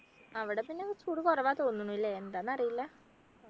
അവിടെ പിന്നെ ചൂട് കുറവാ തോന്നുണു ല്ലേ ന്താന്ന് അറീല